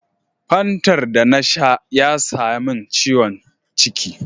Fantar da na sha ya samin ciwon ciki.